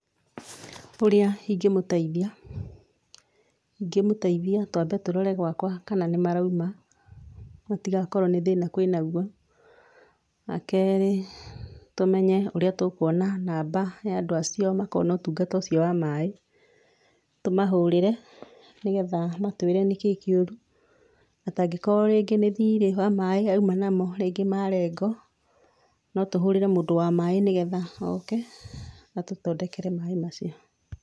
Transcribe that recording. Ũrĩa ingĩmũteithia, ingĩmũteithia twambe tũrore gwakwa kana nĩ marauma gũtigakorwo nĩ thĩna kwĩ naguo. Wa kerĩ tũmenye ũrĩa tũkuona namba ya andũ acio makoragwo na ũtungata ũcio wa maaĩ. Tũmahũrĩre nĩgetha matwĩre nĩkĩĩ kĩũru, hatangĩkorwo rĩngĩ nĩ thirĩ wa maaĩ auma namo rĩngĩ marengwo, no tũhũrĩre mũndũ wa maaĩ nĩgetha oke, atũthondekere maaĩ macio.